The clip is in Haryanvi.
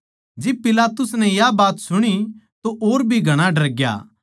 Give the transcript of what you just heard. जिब पिलातुस नै या बात सुणी तो और भी घणा डरग्या